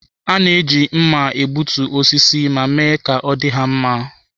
A na-eji mma na-egbutu osisi ma mee ka ọ dị ha mma.